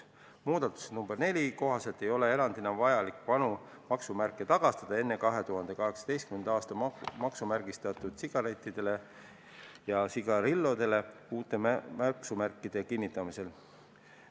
Muudatuse nr 4 kohaselt ei ole erandina vaja vanu maksumärke tagastada enne 2018. aastat maksumärgistatud sigarite ja sigarillode puhul, kui neile kinnitatakse uued maksumärgid.